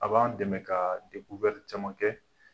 A b'an dɛmɛ ka caman kɛ